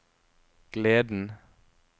gleden